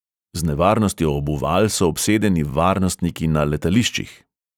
Z nevarnostjo obuval so obsedeni varnostniki na letališčih.